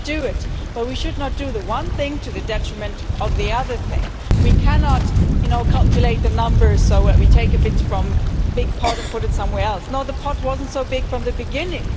We should do it, but we should not do the one thing to the detriment of the other thing we cannot calculate the numbers so that we take a bit from the big part and put it somewhere else and say the part wasn't so big from the beginning.